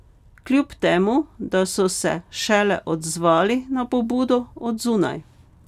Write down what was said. Kljub temu, da so se šele odzvali na pobudo od zunaj.